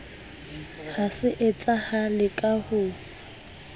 ha se etsahale ka ho